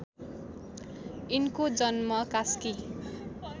यिनको जन्म कास्की